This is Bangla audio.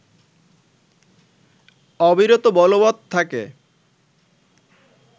অবিরত বলবত থাকে